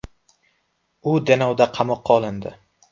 U Denovda qamoqqa olindi.